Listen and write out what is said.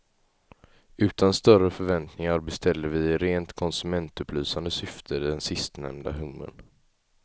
Utan större förväntningar beställde vi i rent konsumentupplysande syfte den sistnämnda hummern.